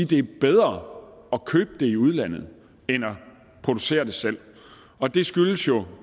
det er bedre at købe det i udlandet end at producere det selv og det skyldes jo